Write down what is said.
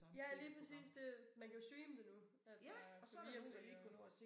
Ja lige præcis det man kan jo streame det nu altså på Viaplay og